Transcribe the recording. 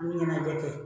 Ɲɛnajɛ kɛ